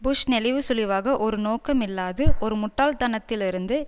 push நெளிவுசுழிவாக ஒரு நோக்கமில்லாது ஒரு முட்டாள்த்தனத்திலிருந்து